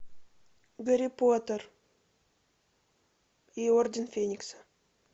гарри поттер и орден феникса